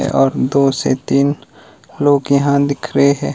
और दो से तीन लोग यहां दिख रहे हैं।